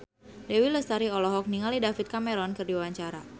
Dewi Lestari olohok ningali David Cameron keur diwawancara